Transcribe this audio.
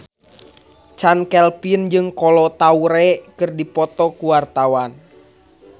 Chand Kelvin jeung Kolo Taure keur dipoto ku wartawan